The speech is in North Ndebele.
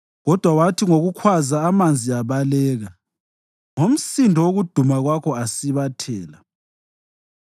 Kodwa wathi ngokukhwaza amanzi abaleka, ngomsindo wokuduma kwakho asibathela;